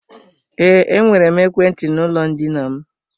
Ee, enwere m ekwentị n'ụlọ ndina m.